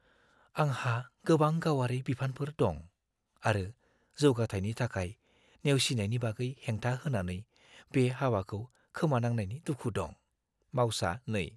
आंहा गोबां गावारि बिबानफोर दं आरो जौगाथायनि थाखाय नेवसिनायनि बागै हेंथा होनानै बे हाबाखौ खोमानांनायनि दुखु दं। (मावसा 2)